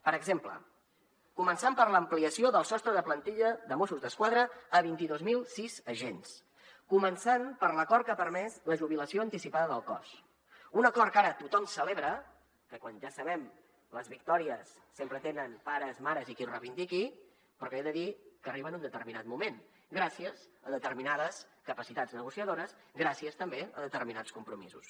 per exemple començant per l’ampliació del sostre de plantilla de mossos d’esquadra a vint dos mil sis agents començant per l’acord que ha permès la jubilació anticipada del cos un acord que ara tothom celebra que ja sabem que les victòries sempre tenen pares i mares i qui ho reivindiqui però que he de dir que arriba en un determinat moment gràcies a determinades capacitats negociadores gràcies també a determinats compromisos